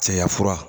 Cɛya fura